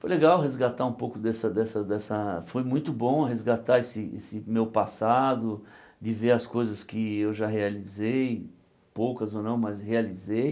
Foi legal resgatar um pouco dessa dessa dessa... foi muito bom resgatar esse esse meu passado, de ver as coisas que eu já realizei, poucas ou não, mas realizei.